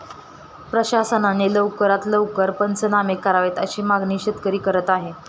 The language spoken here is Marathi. प्रशासनाने लवकरात लवकर पंचनामे करावेत अशी मागणी शेतकरी करत आहे.